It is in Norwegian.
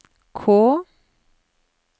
K